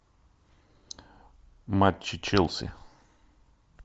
матчи челси